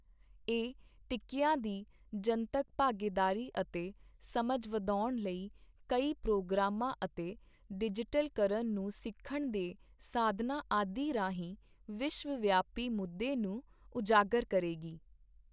ਇਹ ਟੀਕੀਆਂ ਦੀ ਜਨਤਕ ਭਾਗੀਦਾਰੀ ਅਤੇ ਸਮਝ ਵਧਾਉਣ ਲਈ ਕਈ ਪ੍ਰੋਗਰਾਮਾਂ ਅਤੇ ਡਿਜੀ਼ਟਲਕਰਨ ਨੂੰ ਸਿੱਖਣ ਦੇ ਸਾਧਨਾਂ ਆਦਿ ਰਾਹੀਂ ਵਿਸ਼ਵ ਵਿਆਪੀ ਮੁੱਦੇ ਨੂੰ ਉਜਾਗਰ ਕਰੇਗੀ।